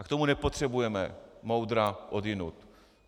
A k tomu nepotřebujeme moudra odjinud.